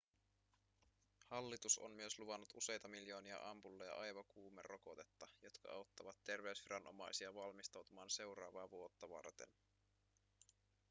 hallitus on myös luvannut useita miljoonia ampulleja aivokuumerokotetta jotka auttavat terveysviranomaisia valmistautumaan seuraavaa vuotta varten